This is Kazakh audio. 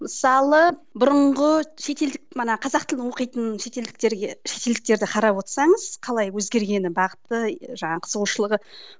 мысалы бұрынғы шетелдік мына қазақ тілді оқитын шетелдіктерге шетелдіктерді қарап отырсаңыз қалай өзгергені бағыты жаңа қызығушылығы